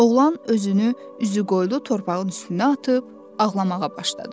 Oğlan özünü üzü qoyulu torpağın üstünə atıb ağlamağa başladı.